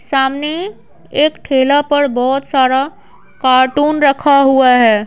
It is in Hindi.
सामने एक ठेला पर बहुत सारा एक कार्टून रखा हुआ है।